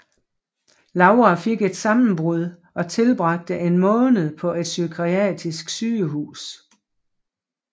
Laura fik et sammenbrud og tilbragte en måned på et psykiatrisk sygehus